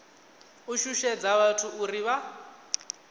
u shushedza vhathu uri vha